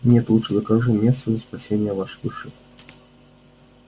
нет лучше закажу мессу за спасение вашей души